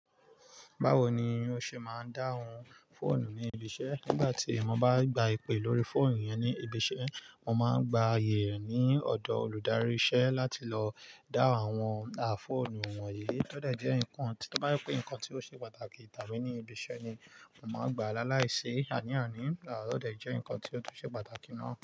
Báwo ni o ṣe máa ń dáhùn fóònù ní ibi iṣẹ́? Nígbà tí mo bá gba ìpè lórí fóònù yẹn ní ibi iṣẹ́, mo máa ń gba ayé ní ọ̀dọ̀ olùdarí iṣẹ́ láti lọ dáhùn àwọn àfóònù wọ̀nyí. Ó dẹ̀ jẹ́ nǹkan to bá jepé nǹkan tí ó ṣe pàtàkì tàbí ní ibi iṣẹ́ ni mo máa ń gba lálaìsí àní-àní, à tó de jẹ́ nǹkan tí ó tún ṣe pàtàkì náà.